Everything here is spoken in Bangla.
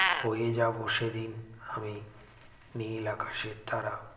হয়ে যাবো সেদিন আমি নীল আকাশের তারা